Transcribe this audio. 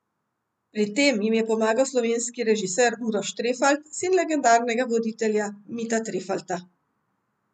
Pri tem jim je pomagal slovenski režiser Uroš Trefalt, sin legendarnega voditelja Mita Trefalta.